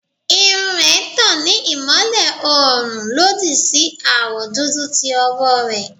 Irun rẹ n tan ni imọlẹ oorun lodi si awọ dudu ti ọwọ rẹ